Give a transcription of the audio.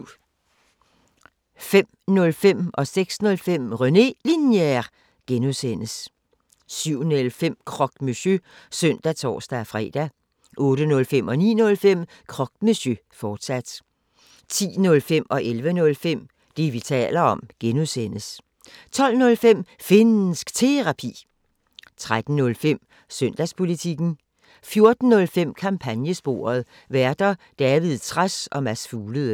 05:05: René Linjer (G) 06:05: René Linjer (G) 07:05: Croque Monsieur (søn og tor-fre) 08:05: Croque Monsieur, fortsat 09:05: Croque Monsieur, fortsat 10:05: Det, vi taler om (G) 11:05: Det, vi taler om (G) 12:05: Finnsk Terapi 13:05: Søndagspolitikken 14:05: Kampagnesporet: Værter: David Trads og Mads Fuglede